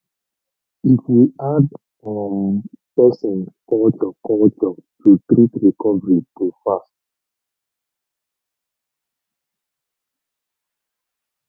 if we add um person culture culture to treatment recovery go fast